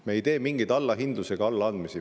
Me ei tee mingeid allahindlusi ega allaandmisi.